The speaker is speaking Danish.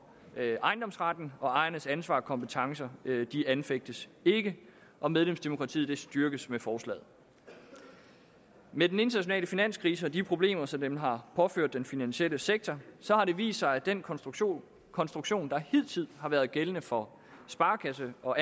ejendomsretten og ejernes ansvar og kompetencer anfægtes ikke og medlemsdemokratiet styrkes med forslaget med den internationale finanskrise og de problemer som den har påført den finansielle sektor har det vist sig at den konstruktion konstruktion der hidtil har været gældende for sparekasse og